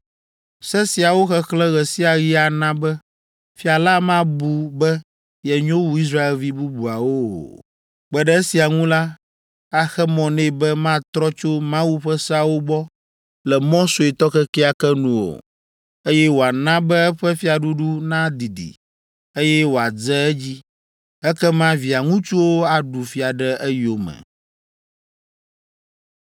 Se siawo xexlẽ ɣe sia ɣi ana be fia la mabu be yenyo wu Israelvi bubuawo o. Kpe ɖe esia ŋu la, axe mɔ nɛ be matrɔ tso Mawu ƒe seawo gbɔ le mɔ suetɔ kekeake nu o, eye wòana be eƒe fiaɖuɖu nadidi, eye wòadze edzi. Ekema via ŋutsuwo aɖu fia ɖe eyome.”